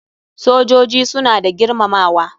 Sojoji suna da girmamawa.